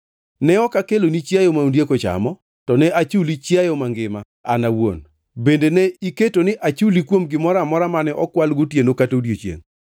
Ne ok akeloni chiayo ma ondiek ochamo; to ne achulo chiayo mangima an awuon. Bende ne iketo ni achuli kuom gimoro amora mane okwal gotieno kata godiechiengʼ.